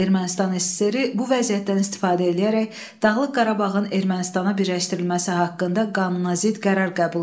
Ermənistan SSR bu vəziyyətdən istifadə eləyərək Dağlıq Qarabağın Ermənistana birləşdirilməsi haqqında qanunazidd qərar qəbul etdi.